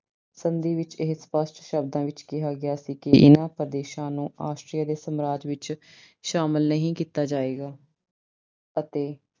ਸੰਧੀ ਵਿੱਚ ਇਹ ਸਪਸ਼ਟ ਸ਼ਬਦਾਂ ਵਿੱਚ ਕਿਹਾ ਗਿਆ ਸੀ ਕਿ ਇਹਨਾਂ ਪ੍ਰਦੇਸ਼ਾਂ ਨੂੰ Austria ਦੇ ਸਾਮਰਾਜ ਵਿੱਚ ਸ਼ਾਮਲ ਨਹੀਂ ਕੀਤਾ ਜਾਵੇਗਾ ਅਤੇ